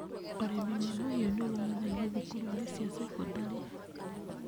Urĩmĩ wa mahiũ nĩ ũthomithagio thukuru-inĩ cia sekondarĩ.